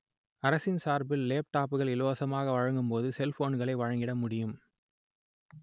அரசின் சார்பில் லேப் டாப்புகள் இலவசமாக வழங்கும் போது செல்போன்களை வழங்கிட முடியும்